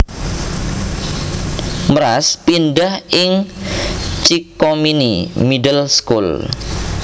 Mraz pindhah ing Chickhominy Middle School